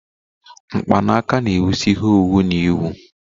Mkpanaka na-ewusi ihe owuwu na-ewu